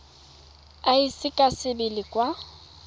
e ise ka sebele kwa